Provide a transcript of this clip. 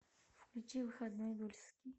включи выходной дульский